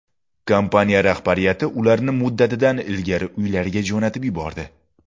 Kompaniya rahbariyati ularni muddatidan ilgari uylariga jo‘natib yubordi.